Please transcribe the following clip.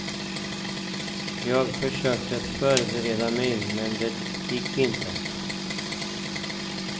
Jag försökte förbereda mig, men det gick inte.